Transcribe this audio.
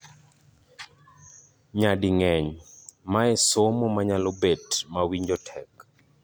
Nyading'eny, mae somo manyalo bet mawinjo tek.